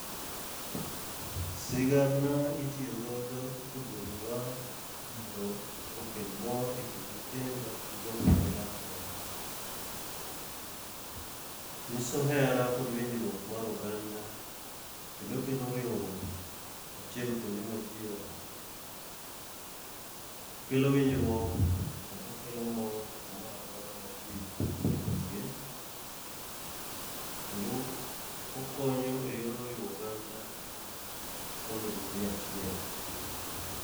Sigana itiyo godo e gwenge wa mondo okel mor e kind nyithindo gi jok ma gidak godo. Nyiso hera kod winjruok mar oganda, kendo kelo riwruok achiel kuonde ma ji odake. Kelo winjruok kendo kelo mor kamora mora ma ji tuge. Kendo okonyo e yor riwo oganda, mondo obede achiel.